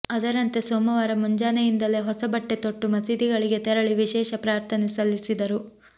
ಅದರಂತೆ ಸೋಮವಾರ ಮುಂಜಾನೆಯಿಂದಲೇ ಹೊಸ ಬಟ್ಟೆ ತೊಟ್ಟು ಮಸೀದಿಗಳಿಗೆ ತೆರಳಿ ವಿಶೇಷ ಪ್ರಾರ್ಥನೆ ಸಲ್ಲಿಸಿದರು